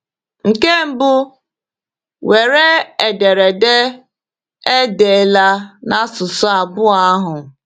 Nke mbụ, were ederede e deela n’asụsụ abụọ ahụ.